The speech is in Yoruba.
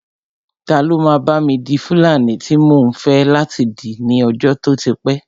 Ta ló máa bá mi di fúlàní tí mò ń fẹ́ láti dì ní ọjọ́ tó ti pẹ́